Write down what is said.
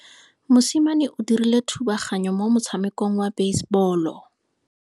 Mosimane o dirile thubaganyo mo motshamekong wa basebolo.